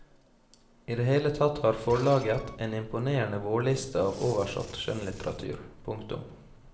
I det hele tatt har forlaget en imponerende vårliste av oversatt skjønnlitteratur. punktum